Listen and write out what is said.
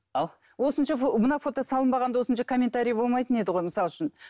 ау осынша мына фото салынбаған да осынша комментарий болмайтын еді ғой мысалы үшін